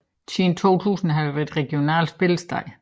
Siden 2000 har det været regionalt spillested